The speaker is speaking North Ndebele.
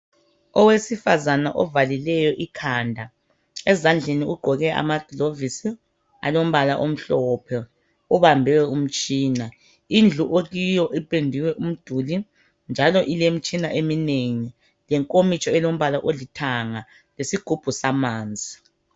Owesifazana ovalileyo ikhanda ezandleni ugqokile amagilovisi alombala omhlophe ubambe umtshina. Indlu akiyo ipendiwe umduli njalo ilemitshina eminengi lenkomitsho elombala olithanga lesigubhu samanzi.